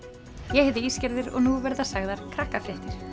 ég heiti og nú verða sagðar krakkafréttir